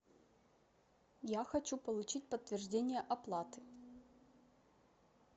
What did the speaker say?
я хочу получить подтверждение оплаты